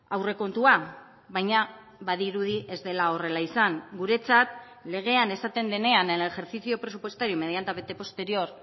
aurrekontua baina badirudi ez dela horrela izan guretzat legean esaten denean en el ejercicio presupuestario inmediatamente posterior